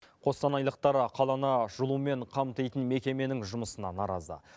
қостанайлықтар қаланы жылумен қамтитын мекеменің жұмысына наразы